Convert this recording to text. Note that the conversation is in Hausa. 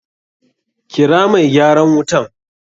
Kira mai gyaran wutan!